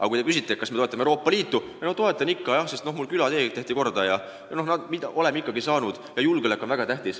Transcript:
Aga kui küsitakse, kas te toetate Euroopa Liitu, siis vastatakse: ei no toetan ikka jah, mul külatee tehti korda ja midagi oleme ju saanud ja julgeolek on väga tähtis.